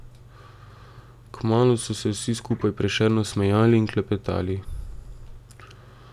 Kmalu so se vsi skupaj prešerno smejali in klepetali.